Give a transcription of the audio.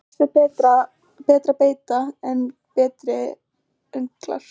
Flest er betri beita en berir önglar.